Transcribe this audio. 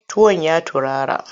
Tuwon ya turara?